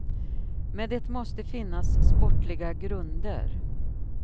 Men det måste finnas sportsliga grunder.